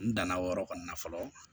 N danna o yɔrɔ kɔni na fɔlɔ